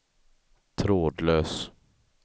trådlös